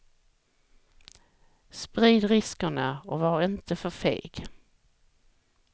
Sprid riskerna och var inte för feg.